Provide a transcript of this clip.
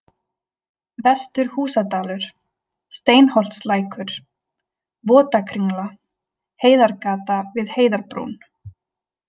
Vestur-Húsadalur, Steinholtslækur, Votakringla, Heiðargata við Heiðarbrún